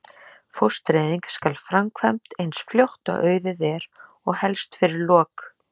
Fóstureyðing skal framkvæmd eins fljótt og auðið er og helst fyrir lok